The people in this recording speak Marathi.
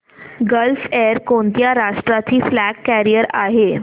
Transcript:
गल्फ एअर कोणत्या राष्ट्राची फ्लॅग कॅरियर आहे